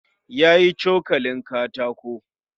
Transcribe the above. Ya yi cokalin katako